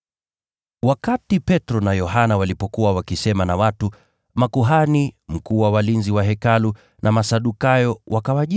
Wakati Petro na Yohana walipokuwa wakisema na watu, makuhani, mkuu wa walinzi wa Hekalu na Masadukayo wakawajia,